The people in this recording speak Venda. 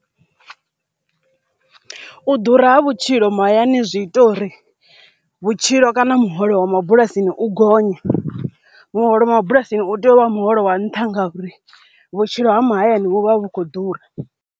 U ḓura ha vhutshilo mahayani zwi ita uri vhutshilo kana muholo wa mabulasini u gonye muholo mabulasini u tea u vha muholo wa nṱha ngauri vhutshilo ha mahayani vhu vha vhu khou ḓura.